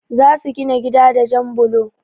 Za su gina gida da jan blo.